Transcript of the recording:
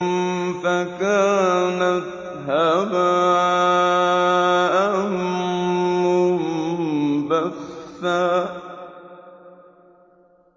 فَكَانَتْ هَبَاءً مُّنبَثًّا